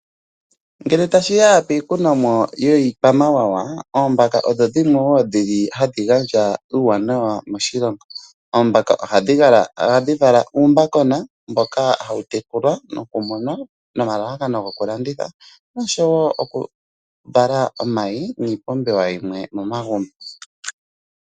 Ngele ta shi ya piikunomwa yiikwamawawa, oombaka odho dhimwe woo ha dhi gandja uuwanawa moshilongo. Oombaka oha dhi vala uumbakona mboka ha wu tekulwa noku muna nomalalakano go ku landitha osho wo oku vala omayi niipumbiwa yimwe momagumbo.